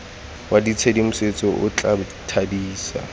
wa tshedimosetso o tla thadisa